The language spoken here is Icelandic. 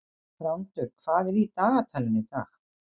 Þrándur, hvað er í dagatalinu í dag?